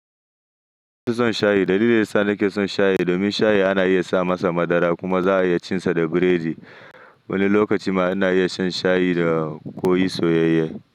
Ni naso shayi. Dalilin da yasa nake son shayi, domin shayi ana iya sa masa madara kuma za'a iya cin sa da biredi. Wani lokacin ma ana iya shan shayi da koi soyayye.